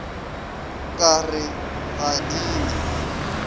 ka re ga di na